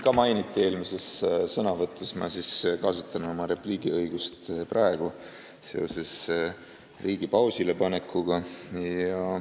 Kuna ka mind eelmises sõnavõtus seoses riigi pausile panekuga mainiti, siis ma kasutan oma repliigiõigust.